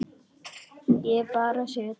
Ég bara sit þar.